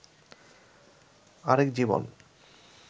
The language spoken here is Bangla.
আরেক জীবন